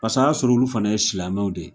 Pasa y'a sɔrɔ olu fana ye silamɛw de ye